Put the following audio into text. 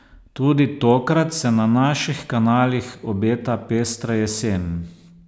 Tudi tokrat se na naših kanalih obeta pestra jesen.